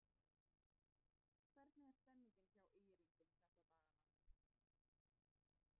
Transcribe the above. Hvernig er stemningin hjá ÍR-ingum þessa dagana?